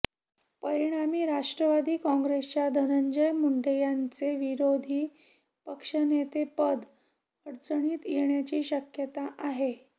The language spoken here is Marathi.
परिणामी राष्ट्रवादी काँग्रेसच्या धनंजय मुंडे यांचे विरोधी पक्षनेतेपद अडचणीत येण्याची शक्यता आहे